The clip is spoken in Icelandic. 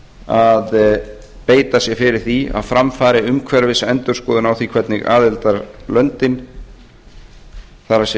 að beita sér fyrir því að fram fari umhverfisendurskoðun á því hvernig aðildarlöndin það